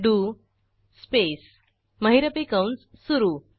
do स्पेस महिरपी कंस सुरू